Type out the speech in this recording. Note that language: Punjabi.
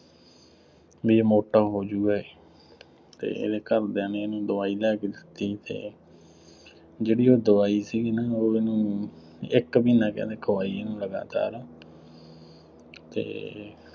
ਬਈ ਆ ਮੋਟਾ ਹੋ ਜਾਊਗਾ ਇਹ ਅਤੇ ਇਹਦੇ ਘਰਦਿਆਂ ਨੇ ਇਹਨੂੰ ਦਵਾਈ ਲਿਆ ਕੇ ਦਿੱਤੀ ਅਤੇ ਜਿਹੜੀ ਉਹ ਦਵਾਈ ਸੀਗੀ ਨਾ ਉਹ ਇਹਨੂੰ ਇੱਕ ਮਹੀਨਾ ਕਹਿੰਦੇ ਖਵਾਈ ਇਹਨੂੰ ਲਗਾਤਾਰ ਅਤੇ